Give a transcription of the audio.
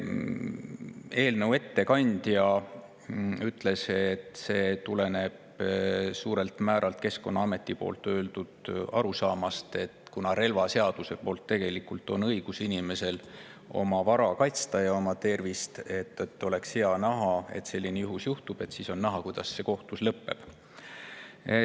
Eelnõu ettekandja ütles, et see tuleneb suurelt määralt Keskkonnaameti arusaamast, et kuna relvaseaduse põhjal on inimesel õigus oma vara ja tervist kaitsta, siis oleks hea, kui selline juhus juhtuks, sest siis on näha, kuidas see kohtus lõpeb.